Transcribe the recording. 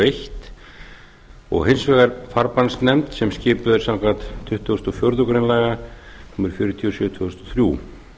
eins og hins vegar farbannsnefnd sem skipuð er samkvæmt tuttugustu og fjórðu grein laga númer fjörutíu og sjö tvö þúsund og þrjú